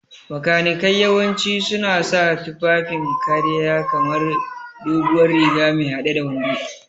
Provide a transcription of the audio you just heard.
Makanikai yawanci suna sa tufafin kariya kamar doguwar riga me hade da wando.